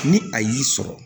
Ni a y'i sɔrɔ